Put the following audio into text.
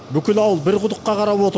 бүкіл ауыл бір құдыққа қарап отыр